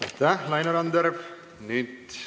Aitäh, Laine Randjärv!